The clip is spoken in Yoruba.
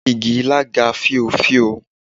Igi ilá ga fíofío.